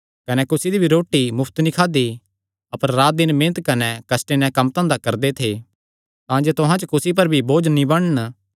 कने कुसी दी रोटी मुफ्त नीं खादी अपर रात दिन मेहनत कने कष्टे नैं कम्मधंधा करदे थे तांजे तुहां च कुसी पर भी बोझ नीं बणन